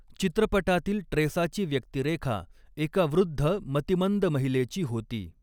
चित्रपटातील ट्रेसाची व्यक्तिरेखा एका वृद्ध मतिमंद महिलेची होती.